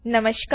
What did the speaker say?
નમસ્કાર